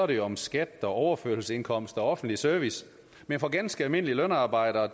det jo om skat overførselsindkomster og offentlig service men for ganske almindelige lønarbejdere